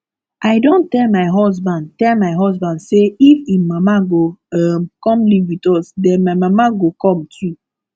i don tell my husband tell my husband say if im mama go um come live with us den my mama go come too